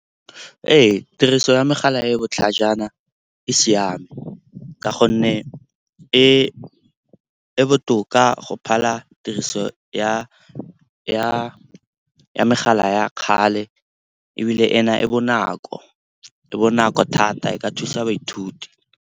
Ee, tiriso ya megala e e botlhajana e siame ka gonne e botoka go phala tiriso ya megala ya kgale. Ebile ena e bonako, e bonako thata, e ka thusa baithuti.